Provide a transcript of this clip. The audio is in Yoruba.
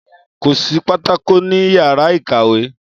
Kò sí pátákó ní yàrá ikàwé